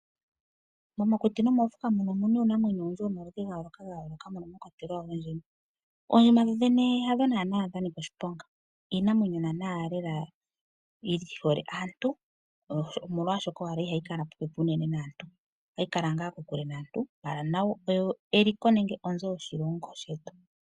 Momakuti nomoofuka omu na uunamwenyo womaludhi ga yooloka moka mwa kwatelwa oondjima. Oondjima dhodhene hadho naanaa dha nika oshiponga. Iinamwenyo lela yi hole aantu, omolwashoka owala ihayi kala unene popepi naantu. Ohayi kala kokule naantu, ihe nayo eliko lyoshilongo shetu.